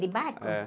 De barco? É.